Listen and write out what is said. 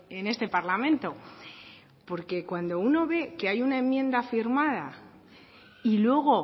en este parlamento porque cuando uno ve que hay una enmienda firmada y luego